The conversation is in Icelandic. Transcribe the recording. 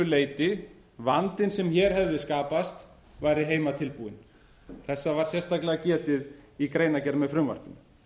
leyti vandinn sem hér hefði skapast væri heimatilbúinn þessa var sérstaklega getið í greinargerð með frumvarpinu